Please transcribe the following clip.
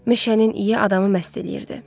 Meşənin iyi adamı məst eləyirdi.